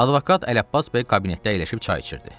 Advokat Ələbbas bəy kabinetdə əyləşib çay içirdi.